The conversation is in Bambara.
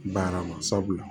Baara ma sabula